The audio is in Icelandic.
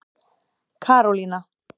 Karólína